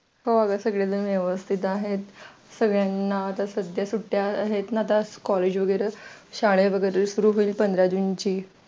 हा सगळेजण व्यवस्थित आहेत सगळ्यांना आता सध्या सुट्टी आहेत ना आता collage वगैरे शाळा वगैरे सुरू होईल पंधरा जून ची